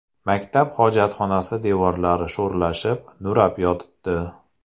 Maktab hojatxonasi devorlari sho‘rlashib, nurab yotibdi.